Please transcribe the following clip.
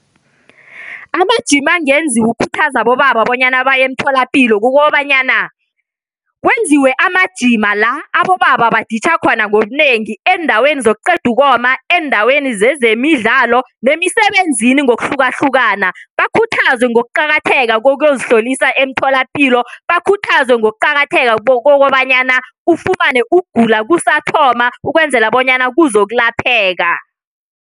Amajima angenziwa ukukhuthaza abobaba bonyana baye emtholapilo kukobanyana kwenziwe amajima la abobaba baditjha khona ngobunengi eendaweni zokuqeda ukoma, eendaweni zezemidlalo nemisebenzini ngokuhlukahlukana. Bakhuthazwe ngokuqakatheka kokuyozihlolisa emtholapilo, bakhuthazwe ngokuqakatheka kokobanyana ufumane ukugula kusathoma ukwenzela bonyana kuzokulapheka.